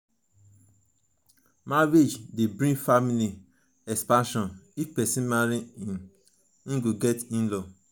marriage de bring family expansion if persin marry im go get inlaws